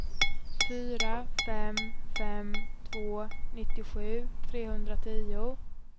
fyra fem fem två nittiosju trehundratio